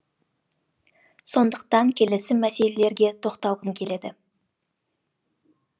сондықтан келесі мәселелерге тоқталғым келеді